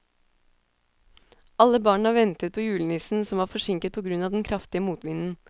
Alle barna ventet på julenissen, som var forsinket på grunn av den kraftige motvinden.